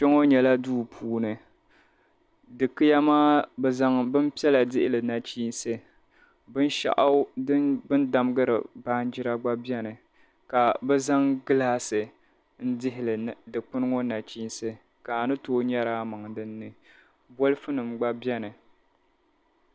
Kpɛŋɔ nyɛla duu puuni. Dikiya maa bɛ zaŋ bimpiɛla dihi li nachiinsi. Binshɛɣu bɛ ni damdiri baanjira dinni gba beni ka bɛ zaŋ gilaasi n-dihi dikpini ŋɔ nachiinsi ka a ni tooi nyari a maŋa dinni bolifunima gba beni.